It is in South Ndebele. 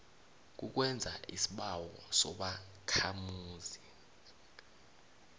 kukwenza isibawo sobakhamuzi